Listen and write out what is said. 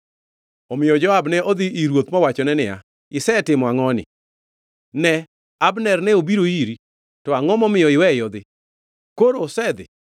Omiyo Joab ne odhi ir ruoth mowachone niya, “Isetimo angʼoni? Ne, Abner ne obiro iri, to angʼo momiyo iweye odhi? Koro osedhi!